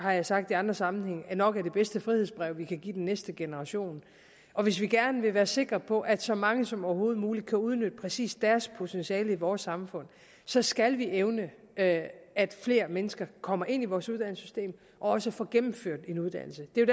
jeg har sagt i andre sammenhænge nok er det bedste frihedsbrev vi kan give den næste generation og hvis vi gerne vil være sikre på at så mange som overhovedet muligt kan udnytte præcis deres potentiale i vores samfund så skal vi evne at flere mennesker kommer ind i vores uddannelsessystem og også får gennemført en uddannelse det er